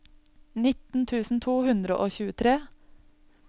nitten tusen to hundre og tjuetre